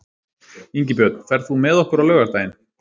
Ingibjörn, ferð þú með okkur á laugardaginn?